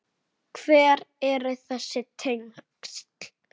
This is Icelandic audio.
Hver eru þessi tengsl?